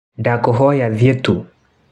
Ndakuhoya thiĩ tu.